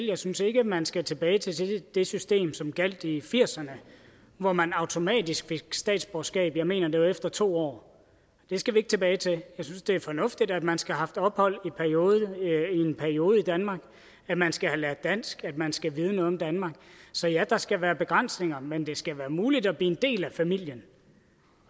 jeg synes ikke man skal tilbage til det system som gjaldt i nitten firserne hvor man automatisk fik statsborgerskab jeg mener det var efter to år det skal vi ikke tilbage til jeg synes det er fornuftigt at man skal have haft ophold i en periode i danmark at man skal have lært dansk at man skal vide noget om danmark så ja der skal være begrænsninger men det skal være muligt at blive en del af familien